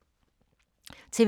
TV 2